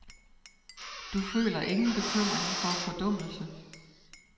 Du føler ingen bekymring for fordummelse.